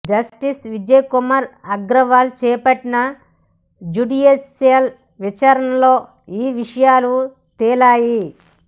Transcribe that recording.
justice Vijaya Kumar Agarwal చేపట్టిన judicial విచారణలో ఈ విషయాలు తేలాయి